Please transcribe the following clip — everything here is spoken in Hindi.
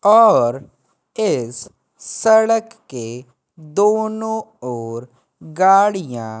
और इस सड़क के दोनों ओर गाड़ियां--